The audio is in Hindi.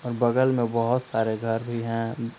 और बगल में बहुत सारे घर भी हैं।